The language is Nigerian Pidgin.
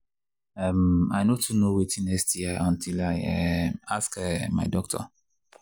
um i no too know watin sti until i um ask um my doctor